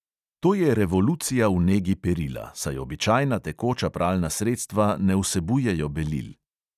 To je revolucija v negi perila, saj običajna tekoča pralna sredstva ne vsebujejo belil.